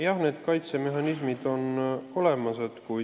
Jah, see kaitsemehhanism on olemas.